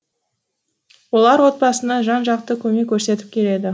олар отбасына жан жақты көмек көрсетіп келеді